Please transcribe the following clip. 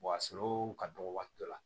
a sɔrɔli ka dɔgɔ waati dɔ la